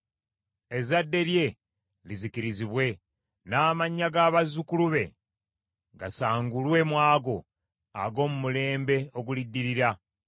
Ezzadde lye lizikirizibwe, n’amannya g’abazzukulu be gasangulwe mu ago ag’omu mulembe oguliddirira.